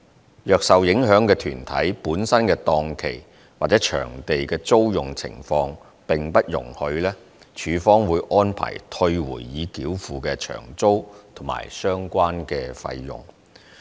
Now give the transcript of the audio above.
如果受影響的團體本身的檔期或場地的租用情況並不容許，署方會安排退回已繳付的場租及相關費用。